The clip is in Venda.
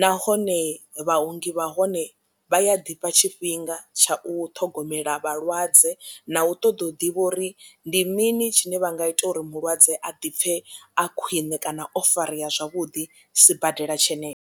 nahone vhaongi vha hone vha ya ḓifha tshifhinga tsha u ṱhogomela vhalwadze na u ṱoḓa u ḓivha uri ndi mini tshine vha nga ita uri mulwadze a ḓipfe a khwiṋe kana o farea zwavhuḓi sibadela tshenetsho.